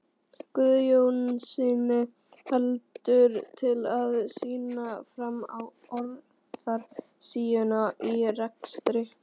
Guðjónssyni heldur til að sýna fram á óráðsíuna í rekstri